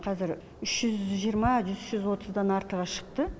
қазір үш жүз жиырма үш жүз отыздан артығы шықты